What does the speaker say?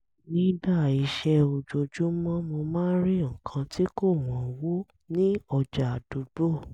nígbà iṣẹ́ ojoojúmọ́ mo máa ń rí nǹkan tí kò wọ́nwó ní ọjà àdúgbò